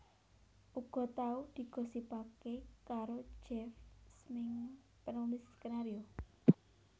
Uga tau digosipaké karo Jeff Smeenge penulis skenario